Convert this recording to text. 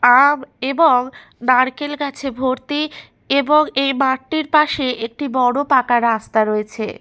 আম এবং নারকেল গাছে ভর্তি এবং এই মাঠটির পাশে একটি বড় পাকা রাস্তা রয়েছে।